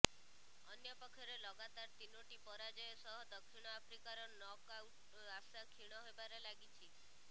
ଅନ୍ୟପକ୍ଷରେ ଲଗାତାର ତିନୋଟି ପରାଜୟ ସହ ଦକ୍ଷିଣ ଆଫ୍ରିକାର ନକ୍ଆଉଟ ଆଶା କ୍ଷୀଣ ହେବାରେ ଲାଗିଛି